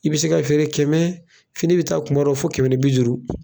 I bi se ka feere kɛmɛ fini mi taa kumadɔw fo kɛmɛ ni bi duuru.